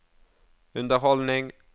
underholdning